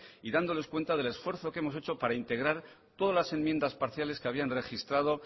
y dándoles cuenta del esfuerzo que hemos hecho para integrar todas las enmiendas parciales que habían registrado